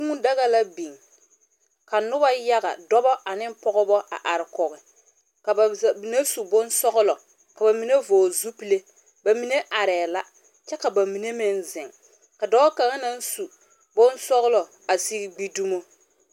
Kũũ daga la biŋ, ka noba yaga dɔbɔ ane pɔgebɔ a are kɔge ka ba mine su bonsɔgelɔ ka ba mine vɔgle zupile, ba mine arɛɛ la, kyɛ ka ba mine meŋ zeŋ, ka dɔɔ kaŋa naŋ su bonsɔglɔ a sigi gbi dumo.